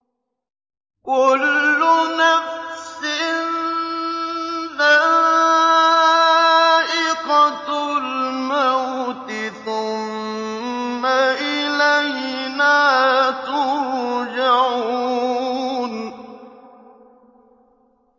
كُلُّ نَفْسٍ ذَائِقَةُ الْمَوْتِ ۖ ثُمَّ إِلَيْنَا تُرْجَعُونَ